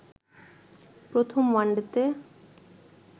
প্রথম ওয়ানডেতে